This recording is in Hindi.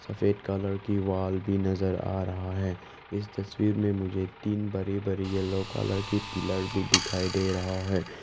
सफेद कलर की वॉल भी नजर आ रहा है इस तस्वीर में मुझे तीन बड़ी बड़ी येलो कलर की पिलर भी दिखाई दे रहा है।